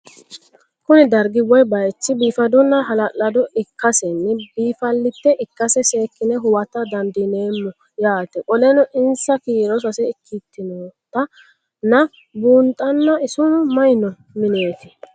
Kuni dargi woye bayich bifadona hala'lado ikasena bifaalet ikase sekine huwata dandinemo yaate qoleno insa kiiro sase ikinotana bunxana isino mayi no minet?